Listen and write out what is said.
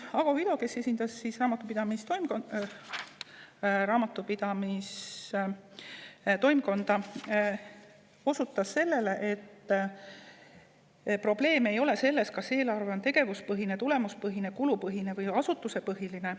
Ago Vilu, kes esindas Raamatupidamise Toimkonda, ütles, et probleem ei ole selles, kas eelarve on tegevuspõhine, tulemuspõhine, kulupõhine või asutusepõhine.